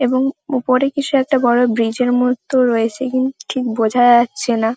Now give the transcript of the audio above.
এবং ওপরে কিছু একটা বড় ব্রীজ -এর মতো রয়েছে কিন্তু ঠিক বোঝা যাচ্ছে না ।